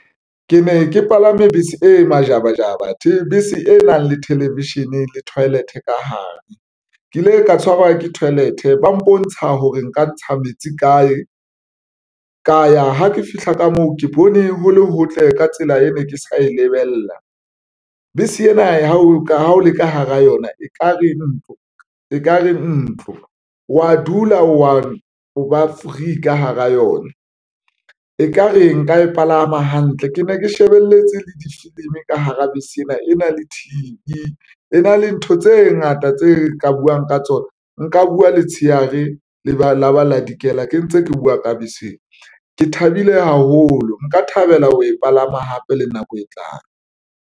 Ke ne ke palame bese e majabajaba bese e nang le television le toilet ka hare ke ile ka tshwarwa ke toilet ba mpontsha hore nka ntsha metsi kae, ka ya ha ke fihla ka moo ke bone ho le hotle ka tsela e ne ke sa e lebella bese ena ha o le ka hara yona, e kare ntlo wa dula wa o ba free ka hara yona, ekare nka e palama hantle. Ke ne ke shebelletse le difilimi ka hara bese ena. E na le T_V e na le ntho tse ngata tse ka buwang ka tsona nka buwa letshehare le ba laba la dikela ke ntse ke buwa ka bese. Ke thabile haholo nka thabela ho e palama hape le nako e tlang.